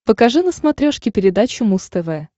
покажи на смотрешке передачу муз тв